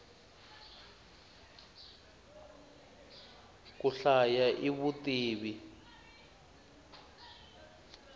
ku hlaya i vutivi